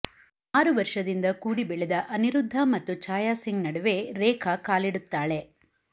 ಆರು ವರ್ಷದಿಂದ ಕೂಡಿ ಬೆಳೆದ ಅನಿರುದ್ಧ ಮತ್ತು ಛಾಯಾಸಿಂಗ್ ನಡುವೆ ರೇಖಾ ಕಾಲಿಡುತ್ತಾಳೆ